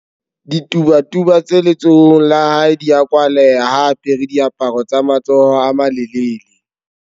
Ditubatuba tse letsohong la hae di a kwaleha ha a apare diaparo tsa matsoho a malelele.